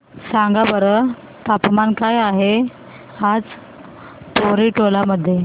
सांगा बरं तापमान काय आहे आज पोवरी टोला मध्ये